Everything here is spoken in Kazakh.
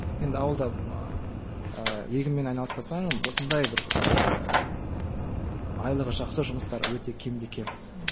енді ауылда ыыы егінмен айналыспасаң осындай бір ыыы айлығы жақсы жұмыстар өте кемде кем ммм